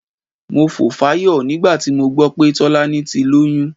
Mo fò fáyọ̀ nígbà tí mo gbọ́ pé Tọ́lání ti lóyún.